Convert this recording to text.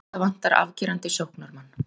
Hauka vantar afgerandi sóknarmann